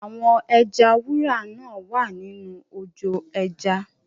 Àwọn ẹja wúrà náa wá nínú ojò ẹja.